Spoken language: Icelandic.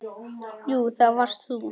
Jú, það varst þú.